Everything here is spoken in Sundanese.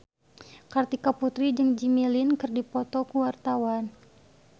Kartika Putri jeung Jimmy Lin keur dipoto ku wartawan